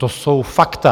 To jsou fakta.